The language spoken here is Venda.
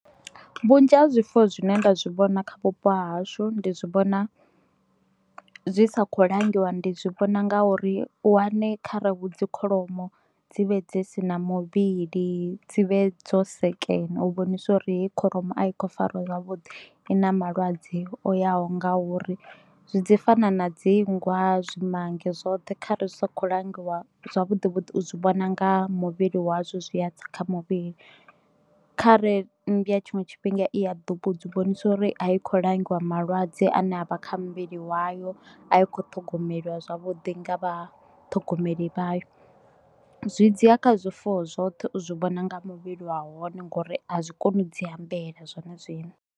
Vhunzhi ha zwifuwo zwine nda zwi vhona kha vhupo hashu ndi zwi vhona zwi sa kho langiwa ndi zwi vhona nga uri wane kha ra hu dzi kholomo dzi vhe dzi si na muvhili dzivhe dzo sekena u vhonisa uri heyi kholomo a i kho fariwa zwavhuḓi i na malwadze o yaho nga uri, zwi dzi fana na dzi nngwa zwimange zwoṱhe kha re zwi sa kho langiwa zwavhuḓi vhuḓi u zwi vhona nga muvhili wa zwo zwi a tsa kha muvhili. Khare mmbwa tshiṅwe tshifhinga i a ḓi vhonise uri a i khou langiwa malwadze ane avha kha muvhili wayo a i kho ṱhogomelwa zwavhuḓi nga vha ṱhogomeli vhayo, zwi dzi ya kha zwifuwo zwoṱhe u zwi vhona nga muvhili wa hone ngori a zwi koni u dzi ambela zwone zwine.